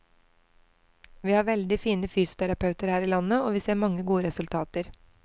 Vi har veldig fine fysioterapeuter her i landet og vi ser mange gode resultater.